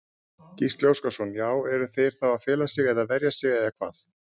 Gísli Óskarsson: Já eru þeir þá að fela sig eða verja sig eða hvað?